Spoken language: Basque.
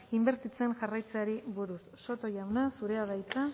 inbertitzen jarraitzeari buruz soto jauna zurea da hitza